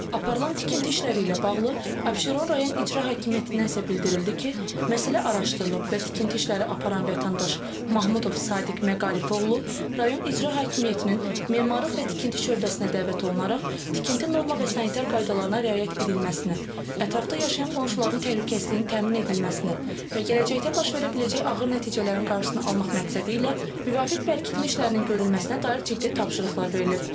Aparılan tikinti işləri ilə bağlı Abşeron rayon İcra hakimiyyətindən isə bildirildi ki, məsələ araşdırılıb və tikinti işləri aparan vətəndaş Mahmudov Sadiq Məqarif oğlu rayon İcra hakimiyyətinin memarlıq və tikinti şöbəsinə dəvət olunaraq tikinti norma və sanitär qaydalarına riayət edilməsinə, ətrafda yaşayan qonşuların təhlükəsizliyinin təmin edilməsinə və gələcəkdə baş verə biləcək ağır nəticələrin qarşısını almaq məqsədilə müvafiq bərkitmə işlərinin görülməsinə dair ciddi tapşırıqlar verilib.